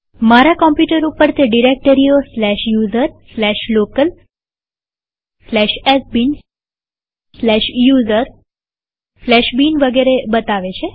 મારા કમ્પ્યુટર ઉપર તે ડિરેક્ટરીઓ user local sbin user bin વગેરે બતાવે છે